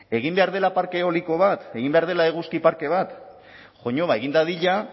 egin behar dela parke eoliko bat egin behar dela eguzki parke bat egin dadila